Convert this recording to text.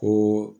Ko